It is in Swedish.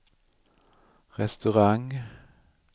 restaurang